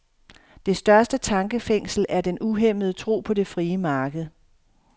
Det største tankefængsel er den uhæmmede tro på det frie marked.